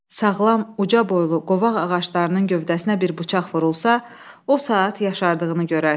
Sağlam, uca boylu, qovaq ağaclarının gövdəsinə bir bıçaq vurulsa, o saat yaşardığını görərsən.